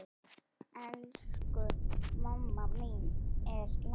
Elsku mamma mín er látin.